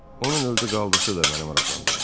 Onun öldü qaldısı da məni maraqlandırmır.